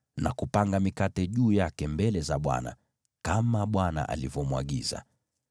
na kupanga mikate juu yake mbele za Bwana , kama Bwana alivyomwagiza.